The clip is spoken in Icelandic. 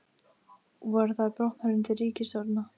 Voru þær bornar undir ríkisstjórnina?